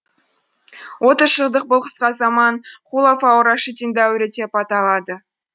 отыз жылдық бұл қысқа заман хулафаур рашидин дәуірі деп аталады